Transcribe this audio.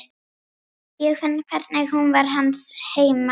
Ég finn hvernig hún var hans heima.